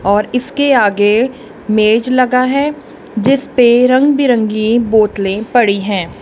और इसके आगे मेज लगा है जिस पे रंग बिरंगी बोतलें पड़ी हैं।